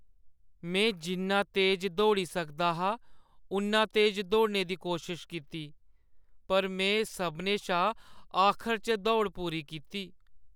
में जिन्ना तेज दौड़ी सकदा हा उन्ना तेज दौड़ने दी कोशश कीती पर में सभनें शा आखर च दौड़ पूरी कीती ।